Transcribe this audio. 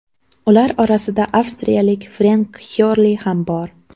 Ular orasida avstraliyalik Frenk Xyorli ham bor.